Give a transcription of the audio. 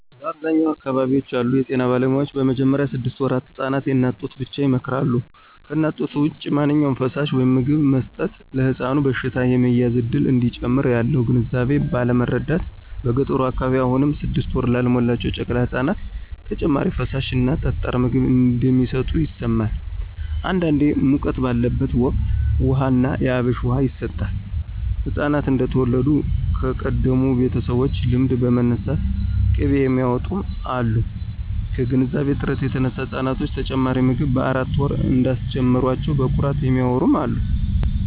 በአብዛኛዎቹ አካባቢዎች ያሉ የጤና ባለሙያዎች በመጀመሪያ ስድስት ወራት ህፃናት የእናት ጡትን ብቻ ይመክራሉ። ከእናት ጡት ውጭ ማንኛውም ፈሳሽ/ምግብ መስጠት ለሕፃኑ በሽታ የመያዝ እድልን እንደሚጨምር ያለው ግንዛቤ ባለማረዳት በገጠሩ አካባቢ አሁንም ስድስት ወር ላልሞላቸው ጨቅላ ህፃናት ተጨማሪ ፈሳሽ እና ጠጣር ምግብ እንደሚሰጡ ይሰማል። አንዳንዴ ሙቀት ባለበት ወቅት ውሃ ና የአብሽ ውሃ ይሰጣል፣ ህፃናት እንደተወለዱ ከቀደሙ ቤተሰቦች ልምድ በመነሳት ቅቤ የሚያውጡም አሉ። ከግንዛቤ እጥረት የተነሳ ህፃናቶችን ተጨማሪ ምግብ በአራት ወር እንዳስጀመሯቸው በኩራት የሚያዎሩ አሉ።